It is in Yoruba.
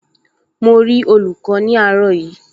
Mo rí olùkọ́ ní àárọ̀ yìí